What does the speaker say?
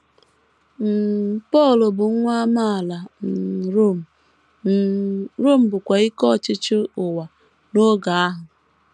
um Pọl bụ nwa amaala um Rom um, Rom bụkwa ike ọchịchị ụwa n’oge ahụ.